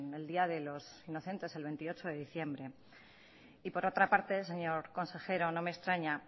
el día de los inocentes el veintiocho de diciembre y por otra parte señor consejero no me extraña